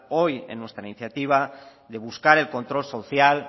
hoy en nuestra iniciativa de buscar el control social